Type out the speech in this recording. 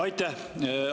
Aitäh!